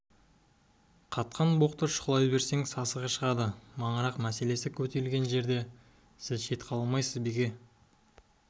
қатқан боқты шұқылай берсең сасығы шығады маңырақ мәселесі көтерілген жерде сіз шет қала алмайсыз беке